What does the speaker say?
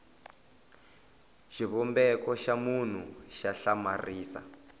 xivumbeko xa munhu xa hlamarisa